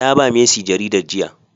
Naba mercy jaridar jiya.